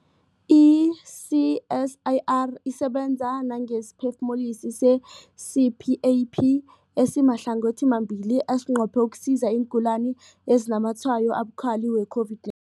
I-CSIR isebenza nangesiphefumulisi se-CPAP esimahlangothimabili esinqophe ukusiza iingulani ezinazamatshwayo abukhali we-COVID-9